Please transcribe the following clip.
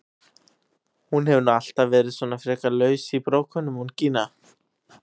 Hún hefur nú alltaf verið svona frekar laus í brókunum hún Gína!